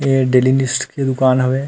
ए daily needs की दुकान हवे।